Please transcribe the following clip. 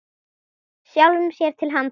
Sjálfum sér til handa.